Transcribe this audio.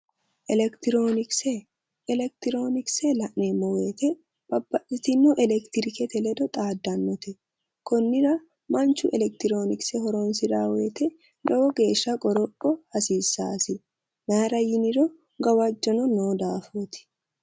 Electironikse electronikse a'neemmo woyte babbaxxitino electrikete ledo xaaddannote konnira manchu electronikse horonsiraa woyte lowo geeshsha qoropho hasiissaasi mayra yiniro gawajjono noo daafooti